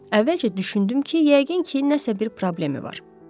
Əvvəlcə düşündüm ki, yəqin ki, nəsə bir problemi var.